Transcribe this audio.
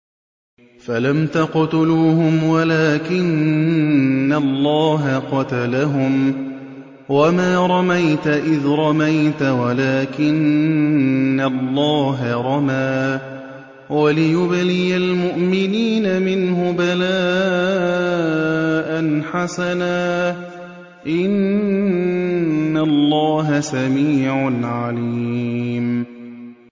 فَلَمْ تَقْتُلُوهُمْ وَلَٰكِنَّ اللَّهَ قَتَلَهُمْ ۚ وَمَا رَمَيْتَ إِذْ رَمَيْتَ وَلَٰكِنَّ اللَّهَ رَمَىٰ ۚ وَلِيُبْلِيَ الْمُؤْمِنِينَ مِنْهُ بَلَاءً حَسَنًا ۚ إِنَّ اللَّهَ سَمِيعٌ عَلِيمٌ